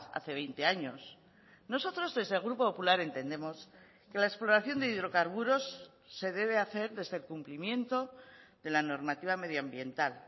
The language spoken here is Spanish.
hace veinte años nosotros desde el grupo popular entendemos que la exploración de hidrocarburos se debe hacer desde el cumplimiento de la normativa medioambiental